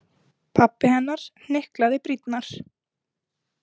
Pabbi hennar hnyklaði brýnnar.